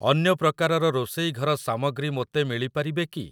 ଅନ୍ୟ ପ୍ରକାରର ରୋଷେଇ ଘର ସାମଗ୍ରୀ ମୋତେ ମିଳିପାରିବେ କି?